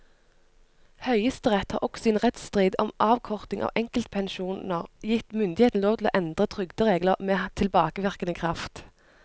Høyesterett har også i en rettsstrid om avkorting av enkepensjoner gitt myndighetene lov til å endre trygderegler med tilbakevirkende kraft.